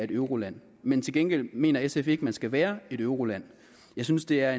euroland men til gengæld mener sf ikke at man skal være et euroland jeg synes det er